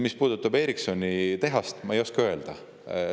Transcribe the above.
Mis puudutab Ericssoni tehast, siis ma ei oska seda öelda.